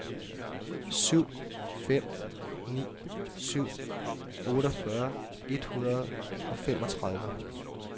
syv fem ni syv otteogfyrre et hundrede og femogtredive